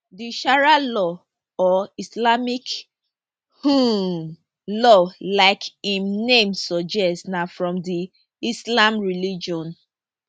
di sharia law or islamic um law like im name suggest na from di islam religion